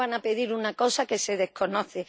¿Cómo van a pedir una cosa que se desconoce?